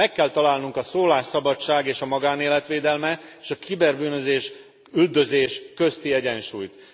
Meg kell találnunk a szólásszabadság és a magánélet védelme és a kiberbűnözés üldözése közti egyensúlyt.